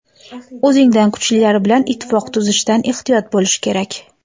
o‘zingdan kuchlilar bilan ittifoq tuzishdan ehtiyot bo‘lish kerak.